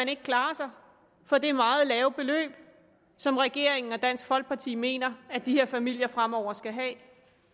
kan klare sig for det meget lave beløb som regeringen og dansk folkeparti mener at de her familier fremover skal have